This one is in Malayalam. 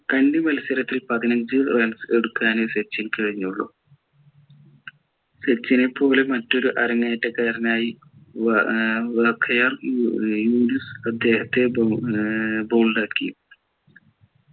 അഞ്ചു മത്സരത്തിൽ പതിനഞ്ചു runs എടുക്കാനെ സച്ചിൻ കഴിഞ്ഞുള്ളു സച്ചിനെ പോലെ മറ്റൊരു അരങ്ങേറ്റക്കാരനായി ആക്കി